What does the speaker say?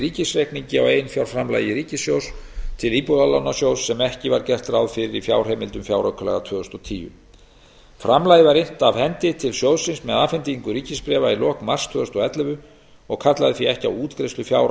ríkisreikningi á eiginfjárframlagi ríkissjóðs til íbúðalánasjóðs sem ekki var gert ráð fyrir í fjárheimildum fjáraukalaga tvö þúsund og tíu framlagið var innt af hendi til sjóðsins með afhendingu ríkisbréfa í lok mars tvö þúsund og ellefu og kallaði því ekki á útgreiðslu fjár á